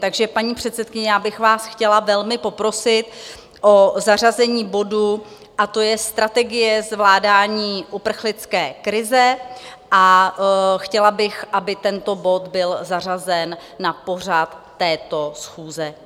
Takže paní předsedkyně, já bych vás chtěla velmi poprosit o zařazení bodu, a to je Strategie zvládání uprchlické krize, a chtěla bych, aby tento bod byl zařazen na pořad této schůze.